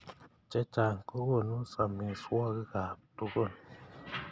Chechang kokokunu samiswokik ab tukun.